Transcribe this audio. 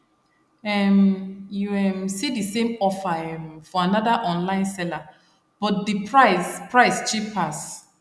um you um see the same offer um for another online saler but the price price cheap pass